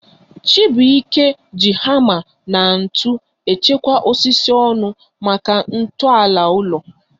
Chibuike ji hama na ntụ echekwa osisi ọnụ maka nto ala ulo